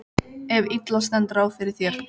ef illa stendur á fyrir þér.